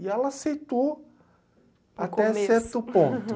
E ela aceitou até certo ponto.